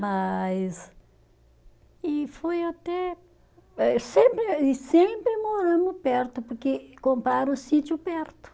Mas, e foi até, eh sempre, e sempre moramos perto, porque compraram o sítio perto.